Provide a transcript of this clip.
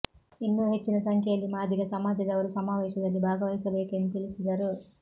ಇನ್ನೂ ಹೆಚ್ಚಿನ ಸಂಖ್ಯೆಯಲ್ಲಿ ಮಾದಿಗ ಸಮಾಜದವರು ಸಮಾವೇಶದಲ್ಲಿ ಭಾಗವಹಿಸಬೇಕು ಎಂದು ತಿಳಿಸಿದರು